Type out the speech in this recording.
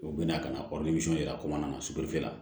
U bɛna ka na yira ko mana na siginifɛ